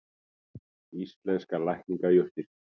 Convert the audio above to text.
Íslenskar lækningajurtir.